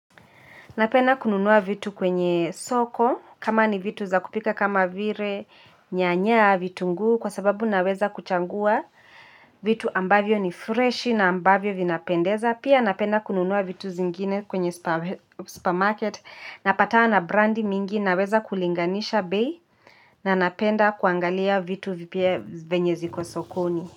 Napenda kununua vitu kwenye soko kama ni vitu za kupika kama vire nyanya vitu ngu kwa sababu naweza kuchangua vitu ambavyo ni fresh na ambavyo vinapendeza. Pia napenda kununua vitu zingine kwenye supermarket napatana na brandi mingi naweza kulinganisha bei na napenda kuangalia vitu vipya venye ziko sokoni.